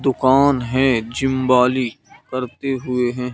दुकान हैं जिम्बाली करते हुए हैं।